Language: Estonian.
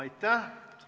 Aitäh!